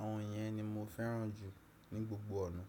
àwọn yẹn ni mo fẹ́ràn jù ní gbogbo ọ̀nà.